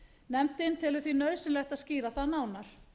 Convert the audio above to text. nefndin telur því nauðsynlegt að skýra það nánar